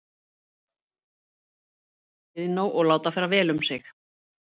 Þau setjast á bekk við Iðnó og láta fara vel um sig.